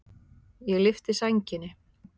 Ég lyfti sænginni.